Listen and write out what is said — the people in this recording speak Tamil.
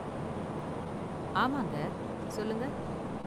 ஆமாங்க, சொல்லுங்க?